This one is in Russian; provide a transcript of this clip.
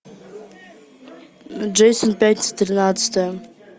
джейсон пятница тринадцатое